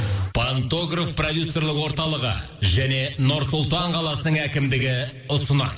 пантогров продюсерлік орталығы және нұр сұлтан қаласының әкімдігі ұсынады